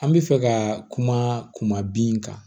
An bɛ fɛ ka kuma bin kan